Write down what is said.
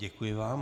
Děkuji vám.